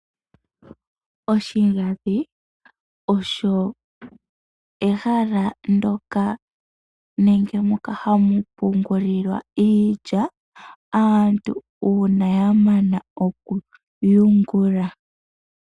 Oshigandhi osho ehala ndyoka hali pungulwa iilya, uuna aantu ya mana okuyungula.